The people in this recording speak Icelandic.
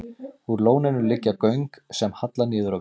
Úr lóninu liggja göng sem halla niður á við.